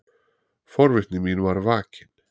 Forvitni mín var vakin.